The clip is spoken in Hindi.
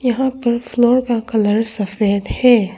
यहां पर फ्लोर का कलर सफेद है।